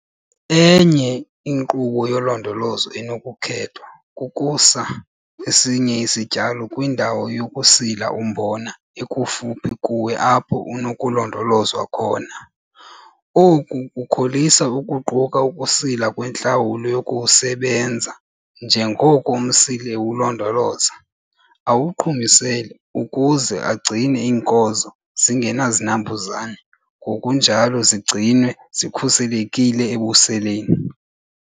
Enye inkqubo yolondolozo enokukhethwa kukusa esinye isityalo kwindawo yokusila umbona ekufuphi kuwe apho unokulondolozwa khona. Oku kukholisa ukuquka ukusila nentlawulo yokuwusebenza njengoko umsili ewulondoloza, awuqhumisele, ukuze agcine iinkozo zingenazinambuzane, ngokunjalo zigcinwe zikhuselekile ebuseleni.